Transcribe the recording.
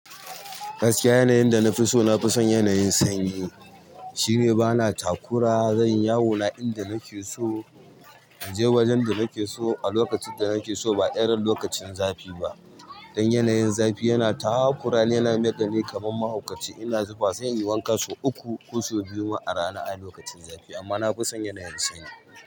Gaskiya yanayin da na fi so na fi son yanayin sanyi. Shi ne bana takura, zan yi yawona inda nake so, in je wajen da nake so a lokacin da nake so ba irin lokacin zafi ba. Dan yanayin zafi yana takura. Dan yana mayar dani kaman mahaukaci. Ina zufa sai in yi wanka sau uku ko sau biyu ma a rana a lokacin zafi. Amma na fi son yanayin sanyi.